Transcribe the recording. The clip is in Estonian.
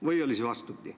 Või oli see vastupidi.